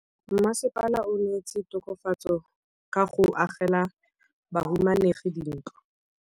Mmasepala o neetse tokafatsô ka go agela bahumanegi dintlo.